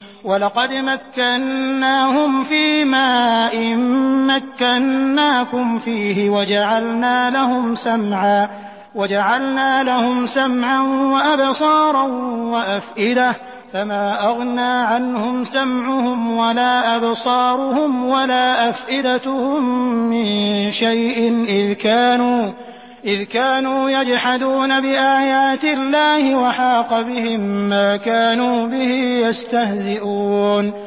وَلَقَدْ مَكَّنَّاهُمْ فِيمَا إِن مَّكَّنَّاكُمْ فِيهِ وَجَعَلْنَا لَهُمْ سَمْعًا وَأَبْصَارًا وَأَفْئِدَةً فَمَا أَغْنَىٰ عَنْهُمْ سَمْعُهُمْ وَلَا أَبْصَارُهُمْ وَلَا أَفْئِدَتُهُم مِّن شَيْءٍ إِذْ كَانُوا يَجْحَدُونَ بِآيَاتِ اللَّهِ وَحَاقَ بِهِم مَّا كَانُوا بِهِ يَسْتَهْزِئُونَ